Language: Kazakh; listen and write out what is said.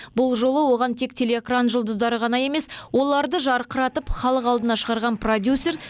бұл жолы оған тек телеэкран жұлдыздары ғана емес оларды жарқыратып халық алдына шығарған продюсер